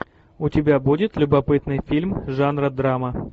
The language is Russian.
у тебя будет любопытный фильм жанра драма